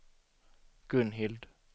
Gunhild